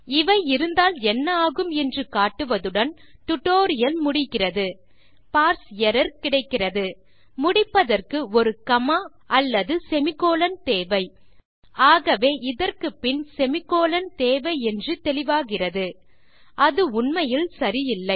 இவை இருந்தால் என்ன ஆகும் என்று காட்டுவதுடன் டியூட்டோரியல் முடிகிறது சரி பார்ஸ் எர்ரர் கிடைக்கிறது முடிப்பதற்கு ஒரு காமா அல்லது செமிகோலன் தேவை ஆகவே இதற்குப்பின் செமிகோலன் தேவை என்று தெளிவாகிறது அது உண்மையில் சரியில்லை